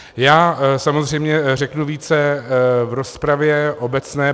Já samozřejmě řeknu více v rozpravě obecné.